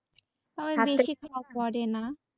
পড়েনা